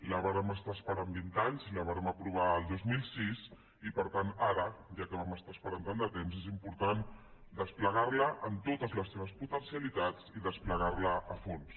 la vàrem estar esperant vint anys la vàrem aprovar el dos mil sis i per tant ara ja que vam estar esperant tant de temps és important desplegar la amb totes les seves potencialitats i desplegar la a fons